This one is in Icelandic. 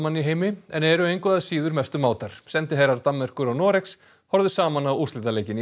í heimi en eru engu að síður mestu mátar sendiherrar Danmerkur og Noregs horfðu saman á úrslitaleikinn í